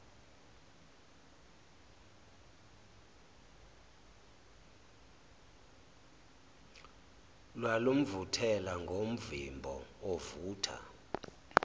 lwalumvuthela ngomvimbo ovutha